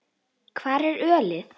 Hvar er ölið?